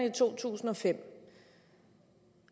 i 2005